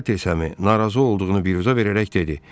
Salter səmi narazı olduğunu biruzə verərək dedi: